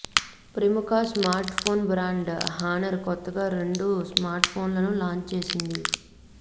ప్రముఖ smart phone brand Honor కొత్తగా రెండు స్మార్ట్ ఫోన్లను లాంచ్ చేసింది